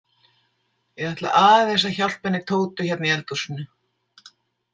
Ég ætla aðeins að hjálpa henni Tótu hérna í eldhúsinu.